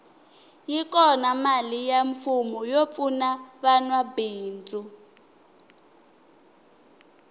yi kona mali ya mfumo yo pfuna vanwa mabindzu